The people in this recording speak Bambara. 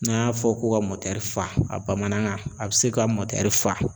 N'an y'a fɔ ko ka mɔtɛri faa a bamanankan a be se ka mɔtɛri faa